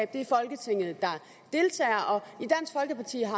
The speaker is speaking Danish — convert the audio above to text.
det er folketinget der deltager